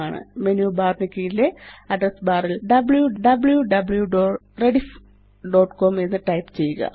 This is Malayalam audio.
മേനു ബാർ നു കീഴിലെ അഡ്രസ് ബാർ ല് wwwrediffcom എന്ന് ടൈപ്പ് ചെയ്യുക